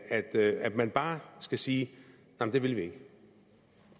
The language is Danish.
at at man bare skal sige det vil vi ikke